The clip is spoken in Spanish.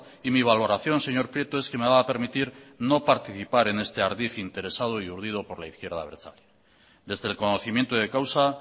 y mi valoración señor prieto es que me va a permitir no participar en este ardid interesado y urdido por la izquierda abertzale desde el conocimiento de causa